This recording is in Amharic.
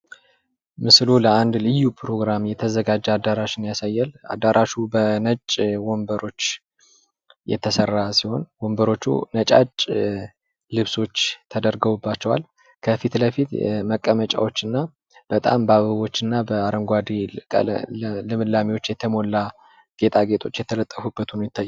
ምስሉ ለአንድ ልዩ ፕሮግራም የተዘጋጀው አዳራሽን ያሳያል። አዳራሹ በነጩ ወንበሮች የተሠራ ሲሆን፤ ወንበሮቹ ነጭ ልብሶች ተደርጎባቸዋል። ከፊት ለፊትህ መቀመጫዎችና በጣም በአበቦች እና በአረንጓዴ ልምላሜ የተሞላ ጌጣጌጦች የተጠቁበት ሆኖ ይታያል።